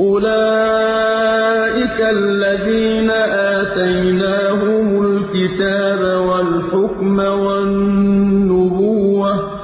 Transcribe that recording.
أُولَٰئِكَ الَّذِينَ آتَيْنَاهُمُ الْكِتَابَ وَالْحُكْمَ وَالنُّبُوَّةَ ۚ